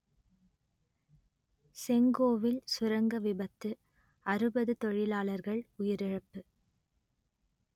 செங்கோவில் சுரங்க விபத்து அறுபது தொழிலாளர்கள் உயிரிழப்பு